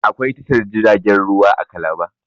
Akwai tashar jiragen ruwa a calabar